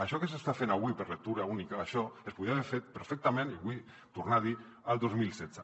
això que s’està fent avui per lectura única això es podia haver fet perfectament i ho vull tornar a dir el dos mil setze